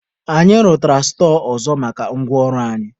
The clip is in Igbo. Anyị rụtara stọọ ọzọ maka ngwa ọrụ anyị.